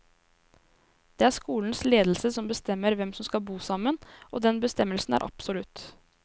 Det er skolens ledelse som bestemmer hvem som skal bo sammen, og den bestemmelsen er absolutt.